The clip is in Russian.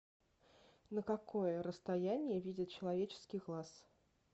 на какое расстояние видит человеческий глаз